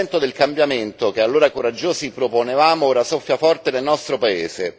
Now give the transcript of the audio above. Il vento del cambiamento che, allora, coraggiosi proponevamo ora soffia forte nel nostro paese.